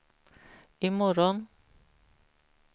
imorgon